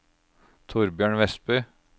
Thorbjørn Westby